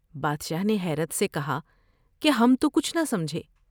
بادشاہ نے حیرت سے کہا کہ ہم تو کچھ نہ سمجھے ۔